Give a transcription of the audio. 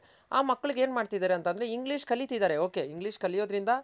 ಆ ಮಕ್ಳ್ಗ್ ಏನ್ ಮಾಡ್ತಿದರೆ ಅಂತ ಅಂದ್ರೆ English ಕಲಿತಿದರೆ okay English ಕಲಿಯೋದರಿಂದ